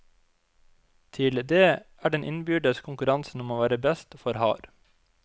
Til det er den innbyrdes konkurransen om å være best for hard.